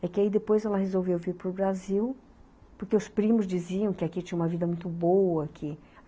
É que aí depois ela resolveu vir para o Brasil, porque os primos diziam que aqui tinha uma vida muito boa que